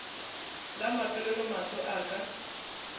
la mafelelo mahlo a ka